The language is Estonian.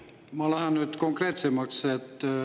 Ma lähen nüüd konkreetsemaks.